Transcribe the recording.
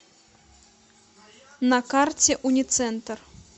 на карте уницентр